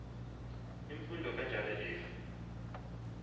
imfundo kanjalo if